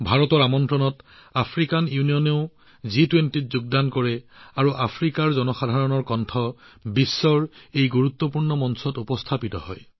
ভাৰতৰ আমন্ত্ৰণত আফ্ৰিকান ইউনিয়নেও জি২০ত যোগদান কৰে আৰু আফ্ৰিকাৰ জনসাধাৰণৰ কণ্ঠই বিশ্বৰ এই গুৰুত্বপূৰ্ণ মঞ্চত উপনীত হয়